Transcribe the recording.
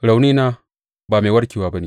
Raunina ba mai warkewa ba ne!